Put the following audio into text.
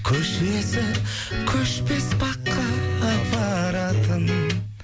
көшесі көшпес баққа апаратын